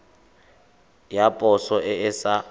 ya poso e e sa